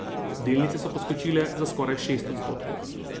Delnice so poskočile za skoraj šest odstotkov.